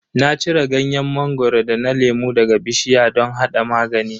Na cire ganyen mangoro da na lemu daga bishiya don hada magani.